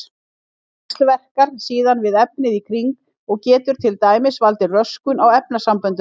Hún víxlverkar síðan við efnið í kring og getur til dæmis valdið röskun á efnasamböndum.